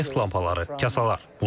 Neft lampaları, kasalar.